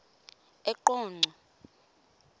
eqonco